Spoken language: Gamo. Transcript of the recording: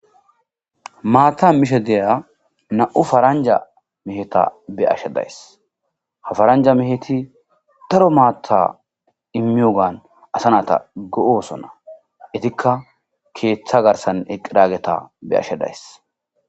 Mata mishe diza nam'u parnja meheta beyashe de'ays. Ha paranja mehet daro mata imiyogan asa nata go'osona . Izka keta garsan eqidageta be'ashe days .